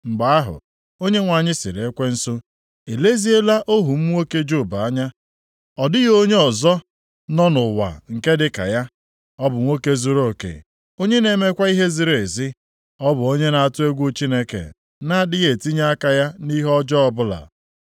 Mgbe ahụ, Onyenwe anyị sịrị Ekwensu, “I leziela ohu m nwoke Job anya? Ọ dịghị onye ọzọ nọ nʼụwa nke dịka ya. Ọ bụ nwoke zuruoke, onye na-emekwa ihe ziri ezi. Ọ bụ onye na-atụ egwu Chineke, na-adịghị etinye aka ya nʼihe ọjọọ ọbụla.”